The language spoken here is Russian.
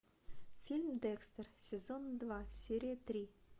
фильм декстер сезон два серия три